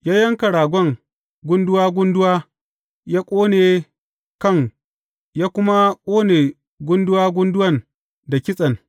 Ya yanka ragon gunduwa gunduwa ya ƙone kan, ya kuma ƙone gunduwa gunduwan da kitsen.